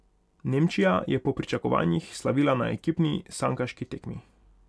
Nemčija je po pričakovanjih slavila na ekipni sankaški tekmi.